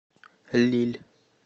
лилль